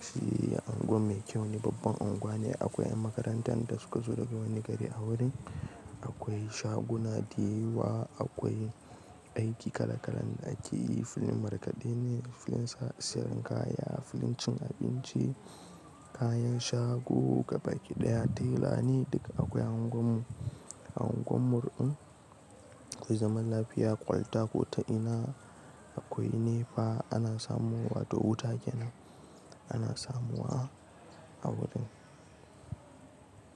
Sihi unguwa mai kyau ne, babban unguwa ne. Akwai ƴan makarantar da suka zo daga wani gari a wurin. Akwai shaguna da yawa, akwai aiki kala-kala ne da ake yi; filin markaɗe ne, filin siyarwa kaya, filin cin abinci, kayan shago gabaki ɗaya, tela ne duka akwai a unguwarmu. A unguwarmu din akwai zaman lafiya, kwalta kota ina akwai nepa ana samu wa toh wuta kenan ana samuwa a wurin.